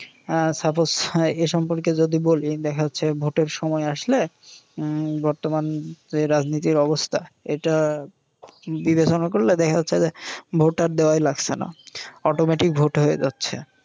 আহ Suppose এ সম্পর্কে যদি বলি দেখা হচ্ছে ভোটের সময় আসলে উম বর্তমান রাজনীতির অবস্থা। এটা বিবেচনা করলে দেখা যাচ্ছে যে ভোট আর দেওয়াই লাগসে না। automatic ভোট হয়ে যাচ্ছে